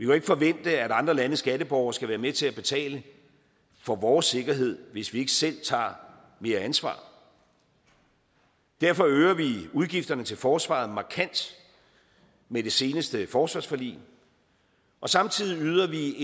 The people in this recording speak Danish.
jo ikke forvente at andre landes skatteborgere skal være med til at betale for vores sikkerhed hvis vi ikke selv tager mere ansvar derfor øger vi udgifterne til forsvaret markant med det seneste forsvarsforlig og samtidig yder vi